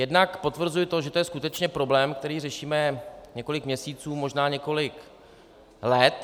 Jednak potvrzuji to, že to je skutečně problém, který řešíme několik měsíců, možná několik let.